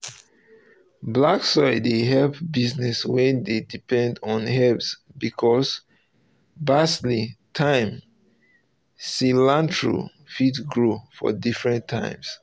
um black soil um dey help business wey dey depend on herbs because basil thyme and cilantro fit grow um for different times